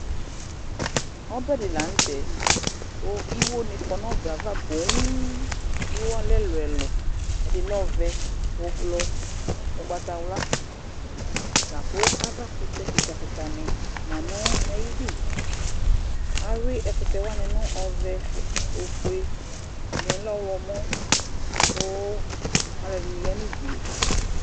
Ɔɓɛ dɩ laŋʊtɛ Kʊ ɩƴo ŋɩ ƙɔ ŋʊ ɔɓɛ aʋa ƒoo Ɩƴo alɛ ɛlʊɛlʊ Ɛdɩ lɛ ɔʋɛ, ʊɓlɔɔ, ʊgbatawla Laƙʊ aʋa ƙʊtɛ ƙɩƙa ƙɩka ŋɩ ma ŋʊ aƴɩdʊ Awʊɩ ɛƙʊtɛ waŋɩ ŋʊ ɔʋɛ, ofʊe, ɛdɩŋɩ lɛ ɔwlɔmɔ ƙʊ alʊɛdɩŋɩ ƴa ŋʊdʊe